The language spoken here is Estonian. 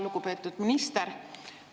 Lugupeetud minister!